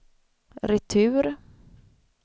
retur